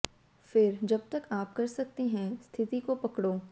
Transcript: फिर जब तक आप कर सकते हैं स्थिति को पकड़ो